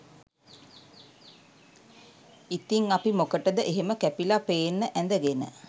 ඉතිං අපි මොකටද එහෙම කැපිලා පේන්න ඇඳගෙන